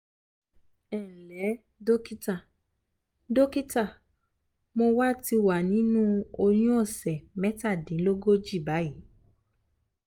ẹ ǹlẹ́ dọ́kítà dọ́kítà mo wà ti wà nínú oyún òsẹ̀ mẹ́tàdínlógójì báyìí